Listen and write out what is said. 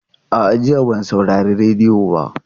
A'a, jiya ban saurari rediyo ba.